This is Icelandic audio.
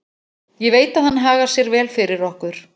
Ég veit að hann hagar sér vel fyrir okkur.